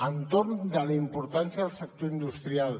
entorn de la importància del sector industrial